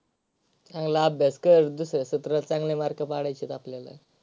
चांगला अभ्यास करून दुसऱ्या सत्रात चांगले mark पाडायचे आहेत आपल्याला.